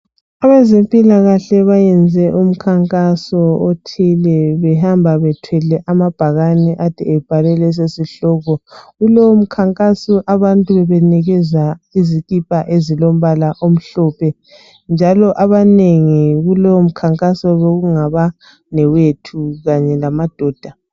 Abezempilakahle bayenze umkhankaso othile behamba bethwele amabhakane ade ebhalwe leso sihloko. Kulowo mkhankaso abantu bebenikezwa izikipa ezimhlophe njalo abanengi kulowo mkhankaso bekungabanewethu kanye lamadoda.